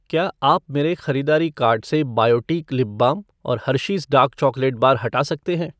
क्या आप मेरे ख़रीदारी कार्ट से बायोटीक लिप बाम और हर्शीज़ डार्क चॉकलेट बार हटा सकते हैं ?